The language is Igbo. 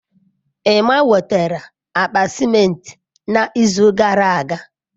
Emma wetara akpa ciment n'izu gara aga.